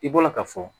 I bɔra ka fɔ